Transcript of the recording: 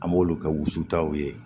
An b'olu kɛ wusutaw ye